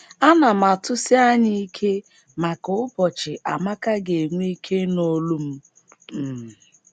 Ana m atụsi anya ike maka ụbọchị Amaka ga - enwe ike ịnụ olu m. m.